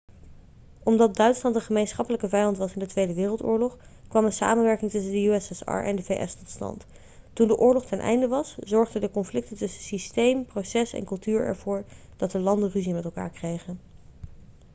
omdat duitsland een gemeenschappelijke vijand was in de tweede wereldoorlog kwam een samenwerking tussen de ussr en de vs tot stand toen de oorlog ten einde was zorgen de conflicten tussen systeem proces en cultuur ervoor dat de landen ruzie met elkaar kregen